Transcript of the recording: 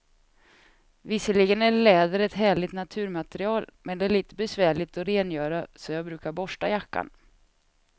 Visserligen är läder ett härligt naturmaterial, men det är lite besvärligt att rengöra, så jag brukar borsta jackan.